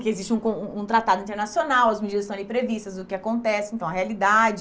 Que existe um con um tratado internacional, as medidas estão ali previstas, o que acontece, então, a realidade.